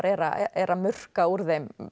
er að murka úr þeim